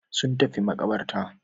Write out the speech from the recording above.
Sun tafi maƙabarta.